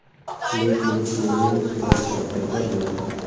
Lekin bu meni sportdan qaytarmaydi.